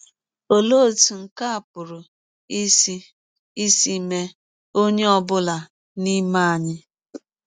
Ọlee ọtụ nke a pụrụ isi isi mee ọnye ọ bụla n’ime anyị?